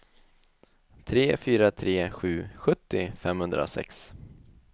tre fyra tre sju sjuttio femhundrasex